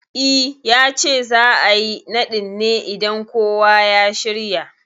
I, yace za'a yi naɗin ne idan kowa ya shirya